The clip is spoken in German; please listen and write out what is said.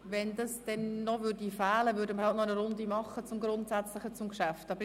Würde dies noch fehlen, würden wir noch eine Runde zum Grundsätzlichen des Geschäfts machen.